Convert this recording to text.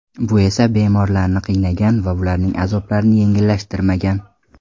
Bu esa bemorlarni qiynagan va ularning azoblarini yengillashtirmagan.